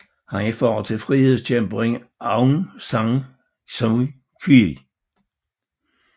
Han er far til frihedskæmperen Aung San Suu Kyi